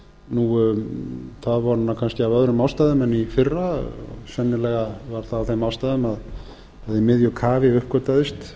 nú kannski af öðrum ástæðum en í fyrra sennilega var það af þeim ástæðum að í miðju kafi uppgötvaðist